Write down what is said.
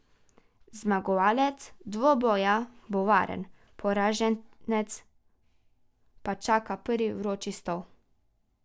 Zmagovalec dvoboja bo varen, poraženca pa čaka prvi vroči stol.